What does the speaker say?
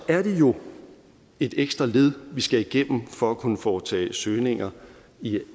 er det jo et ekstra led vi skal igennem for at kunne foretage søgninger i eis